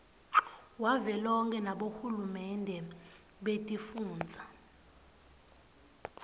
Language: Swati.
wavelonkhe nabohulumende betifundza